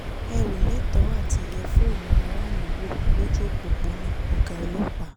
ẹ ò lẹ́tọ̀ọ́ àti yẹ fóònù aráàlú wò lójú òpópónà ọ̀gá ọlọ́pàá